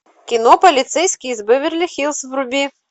кино полицейский из беверли хиллз вруби